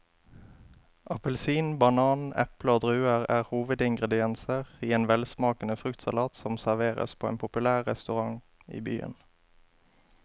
Appelsin, banan, eple og druer er hovedingredienser i en velsmakende fruktsalat som serveres på en populær restaurant i byen.